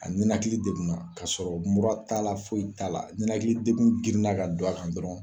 A ninakili degunna k'a sɔrɔ mura t'a la, foyi t'a la, ninakilli degun grinna ka don a kan dɔrɔn